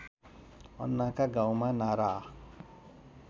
अन्नाका गाउँमा नारा